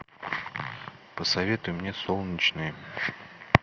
посоветуй мне солнечные